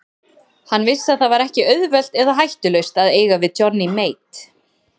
Hann vissi að það var ekki auðvelt eða hættulaust að eiga við Johnny Mate.